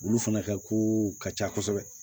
Olu fana ka kow ka ca kosɛbɛ